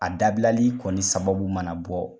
A dabilali kɔni sababu mana bɔ